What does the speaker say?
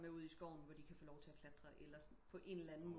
Med ud i skoven hvor de kan få lov til at klatre eller på en eller anden